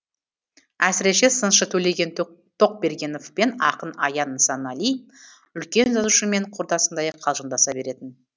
әсіресе сыншы төлеген тоқбергенов пен ақын аян нысанали үлкен жазушымен құрдасындай қалжыңдаса беретін